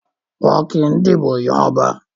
Wọn kì í dìbò yan ọba.